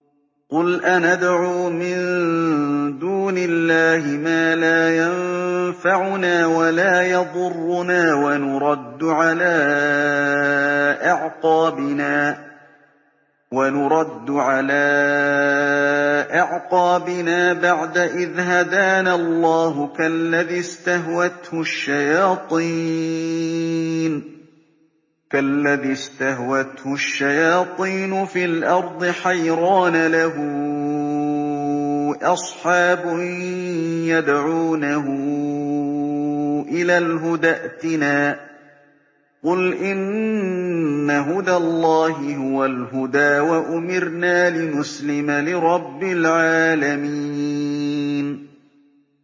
قُلْ أَنَدْعُو مِن دُونِ اللَّهِ مَا لَا يَنفَعُنَا وَلَا يَضُرُّنَا وَنُرَدُّ عَلَىٰ أَعْقَابِنَا بَعْدَ إِذْ هَدَانَا اللَّهُ كَالَّذِي اسْتَهْوَتْهُ الشَّيَاطِينُ فِي الْأَرْضِ حَيْرَانَ لَهُ أَصْحَابٌ يَدْعُونَهُ إِلَى الْهُدَى ائْتِنَا ۗ قُلْ إِنَّ هُدَى اللَّهِ هُوَ الْهُدَىٰ ۖ وَأُمِرْنَا لِنُسْلِمَ لِرَبِّ الْعَالَمِينَ